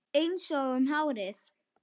Einsog um árið.